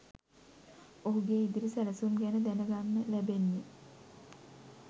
ඔහුගේ ඉදිරි සැලසුම් ගැන දැනගන්න ලැබෙන්නේ